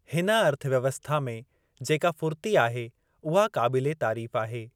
हिन अर्थव्यवस्था में जेका फ़ुर्ती आहे उहा क़ाबिले तारीफ़ आहे।